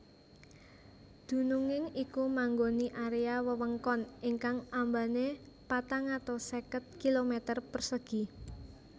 Dununging iku manggoni area wewengkon ingkang ambane patang atus seket kilometer persegi